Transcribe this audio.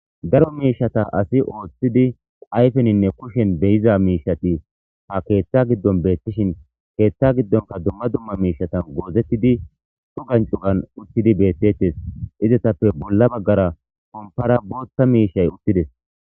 daro miishata asi ooththidi ayfeninne kushen beyiza miishati ha keeththa giddon beettishin keeththa giddonka dumma dumma miishatan goozettidi cugan cugan utthidi beettettes izatappe bolla baggara kompara bootta miishay uttides